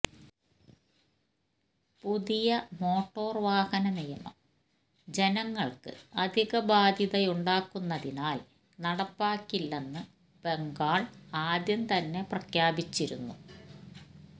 പുതിയ മോട്ടർവാഹന നിയമം ജനങ്ങൾക്ക് അധിക ബാധ്യതയുണ്ടാക്കുന്നതിനാൽ നടപ്പാക്കില്ലെന്ന് ബംഗാള് ആദ്യം തന്നെ പ്രഖ്യാപിച്ചിരുന്നു